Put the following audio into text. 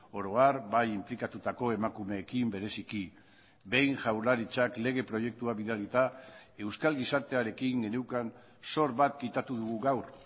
oro har bai inplikatutako emakumeekin bereziki behin jaurlaritzak lege proiektua bidalita euskal gizartearekin geneukan zor bat kitatu dugu gaur